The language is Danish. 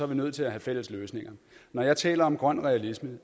vi nødt til at have fælles løsninger når jeg taler om grøn realisme